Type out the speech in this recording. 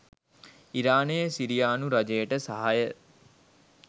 ඉරානය සිරියානු රජයට සහාය